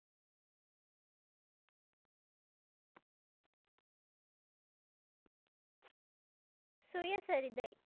சுயசரிதை